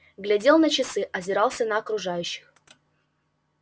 глядел на часы озирался на окружающих